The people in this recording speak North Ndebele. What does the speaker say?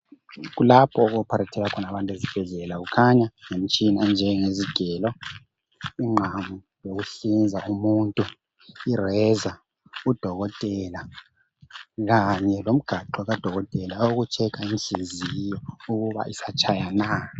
Kulapho oku opharethelwa khona abantu ezibhedlela kukhanya ngemitshina enjenge zigelo, inqamu yokuhlinza umuntu irazor udokotela kanye lomgaxo kadokotela owoku checker inhliziyo ukuba isatshaya na.